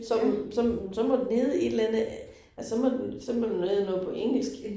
Så så så må den hedde et eller. Så må den så må den hedde noget på engelsk